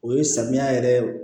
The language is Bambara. O ye samiya yɛrɛ ye